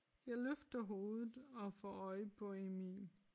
Jeg løfter hovedet og får øje på Emil